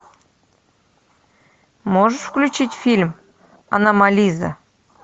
можешь включить фильм аномализа